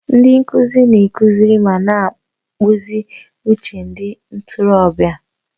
Ndị nkuzi na-akụziri ma na-akpụzi uche ndị ntorobịa.